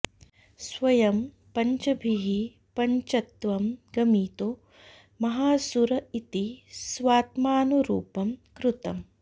स्वयं पञ्चभिः पञ्चत्वं गमितो महासुर इति स्वात्मानुरूपं कृतम्